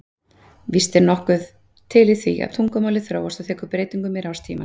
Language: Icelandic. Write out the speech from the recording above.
Víst er nokkuð til í því að tungumálið þróast og tekur breytingum í rás tímans.